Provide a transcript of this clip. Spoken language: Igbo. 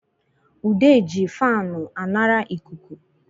Ude ji faanu anara ịkụkụ